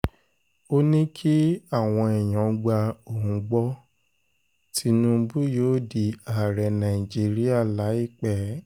ó ní kí àwọn èèyàn gba ohun gbọ́ gbọ́ tínúbù yóò di ààrẹ nàìjíríà láìpẹ́